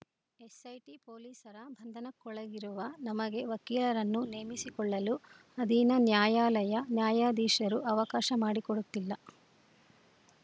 SIT ಪೊಲೀಸರ ಬಂಧನಕ್ಕೊಳಗಿರುವ ನಮಗೆ ವಕೀಲರನ್ನು ನೇಮಿಸಿಕೊಳ್ಳಲು ಅಧೀನ ನ್ಯಾಯಾಲಯ ನ್ಯಾಯಾಧೀಶರು ಅವಕಾಶ ಮಾಡಿಕೊಡುತ್ತಿಲ್ಲ